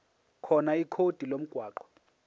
khona ikhodi lomgwaqo